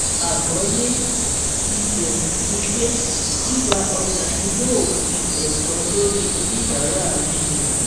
Àgbọ́yé ibẹ̀ ni pé gbígba ọjà ni yóò fi ẹ̀tọ́ lórí oníbàárà rinlẹ̀.